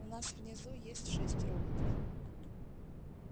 у нас внизу есть шесть роботов